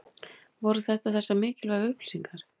Voru þetta þessar mikilvægu upplýsingar?